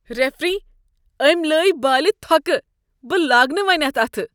Referee, أمۍ لٲے بالِہ تھوٚکھ۔ بہٕ لاگہ نہٕ وۄنۍ اتھ اتھٕ۔